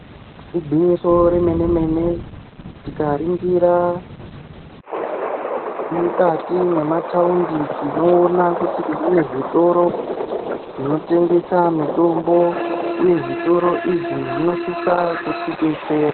Igwinyiso remene-mene tikaringira mukati mwemataundi tinoona kuti mune zvitoro zvinotengesa mitombo uye zvitoro izvi zvinosisa kutidetsera.